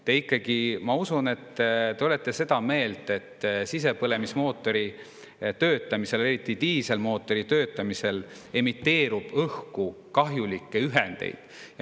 Te ikkagi, ma usun, olete seda meelt, et sisepõlemismootori töötamisel, eriti diiselmootori töötamisel emiteerub õhku kahjulikke ühendeid.